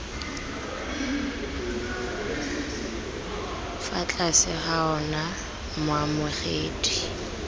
fa tlase ga ona moamogedi